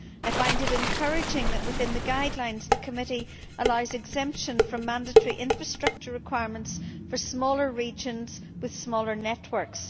I find it encouraging that within the guidelines the Committee allows exemption from mandatory infrastructure requirements for smaller regions with smaller networks.